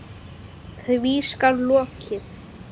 Því skal lokið.